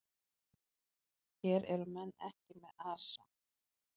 Hér eru menn ekki með asa.